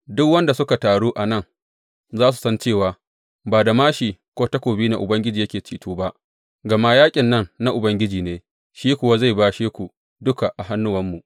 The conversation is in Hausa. Duk waɗanda suka taru a nan za su san cewa ba da māshi ko takobi ne Ubangiji yake ceto ba, gama yaƙin nan na Ubangiji ne, shi kuwa zai bashe ku duka a hannuwanmu.